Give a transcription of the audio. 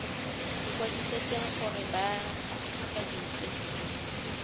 ikwadisitseng gore ba nt hwafatse